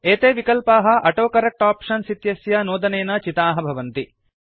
एते विकल्पाः autocorrect options इत्यस्य नोदनेन चिताः भवन्ति